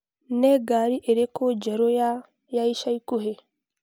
Nĩ ngari ĩrĩkũ njerũ ya B.M. ya ica ikuhĩ?